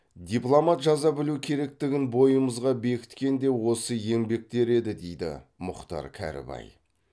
дипломат жаза білуі керектігін бойымызға бекіткен де осы еңбектер еді дейді мұхтар кәрібай